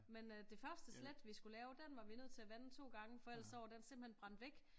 Men øh det første slæt vi skulle lave den var vi nødt til at vande to gange for ellers så var den simpelthen brændt væk